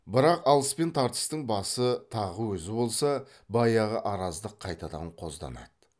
бірақ алыс пен тартыстың басы тағы өзі болса баяғы араздық қайтадан қозданады